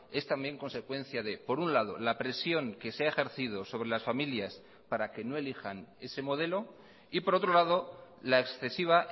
es también consecuencia de por un lado la presión que se ha ejercido sobre las familias para que no elijan ese modelo y por otro lado la excesiva